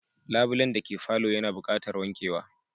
Labulen dake palour yana buqatar wankewa